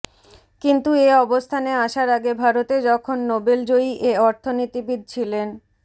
কিন্তু এ অবস্থানে আসার আগে ভারতে যখন নোবেলজয়ী এ অর্থনীতিবিদ ছিলেন